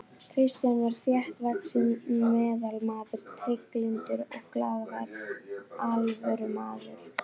Kristján var þéttvaxinn meðalmaður, trygglyndur og glaðvær alvörumaður.